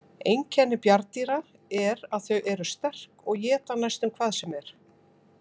Einkenni bjarndýra er að þau eru sterk og éta næstum hvað sem er.